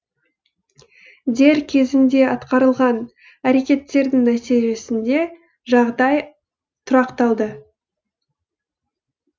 дер кезінде атқарылған әрекеттердің нәтижесінде жағдай тұрақталды